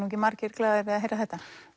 ekki margir glaðir við að heyra þetta